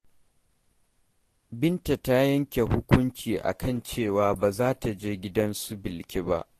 Binta ta yanke hukunci a kan cewa ba za ta je gidan su Bilki ba.